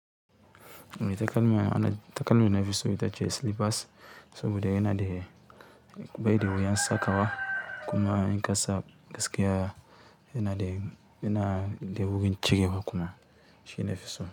Takalma na, takalmi nafison ita ce slippers saboda yana da bai da wuyan sakawa kuma in ƙasa gaskiya yana da, yana da wuyan cirewa kuma shine nafison.